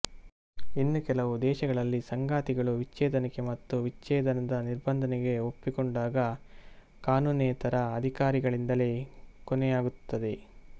ಇನ್ನೂ ಕೆಲವು ದೇಶಗಳಲ್ಲಿಸಂಗಾತಿಗಳು ವಿಚ್ಛೇದನಕ್ಕೆ ಮತ್ತು ವಿಚ್ಛೇದನದ ನಿಬಂಧನೆಗೆ ಒಪ್ಪಿಕೊಂಡಾಗ ಕಾನೂನಿನೇತರ ಅಧಿಕಾರಗಳಿಂದಲೇ ಕೊನೆಯಾಗುತ್ತದೆ